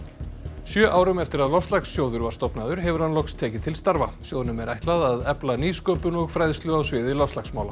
sjö árum eftir að loftslagssjóðs var stofnaður hefur hann loks tekið til starfa sjóðnum er ætlað að efla nýsköpun og fræðslu á sviði loftslagsmála